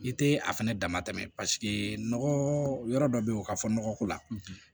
I te a fɛnɛ dama tɛmɛ nɔgɔ yɔrɔ dɔ be yen o ka fɔ nɔgɔ ko la